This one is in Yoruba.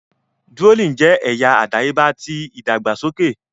Drooling jẹ ẹya adayeba ti idagbasoke.